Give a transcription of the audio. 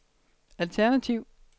alternativ